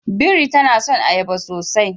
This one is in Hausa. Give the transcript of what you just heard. Biri ta son ayaba sosai